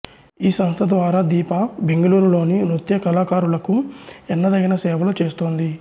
ఈ సంస్థ ద్వారా దీప బెంగళూరులోని నృత్య కళాకారులకు ఎన్నదగిన సేవలు చేస్తోంది